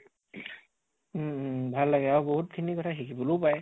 উম উম ভাল লাগে আৰু বহুত খিনি কথা শিকিবলৈও পায়